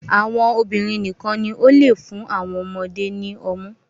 Àwọn obìnrin nìkan ní o le fún awọn ọmọde ni ọmu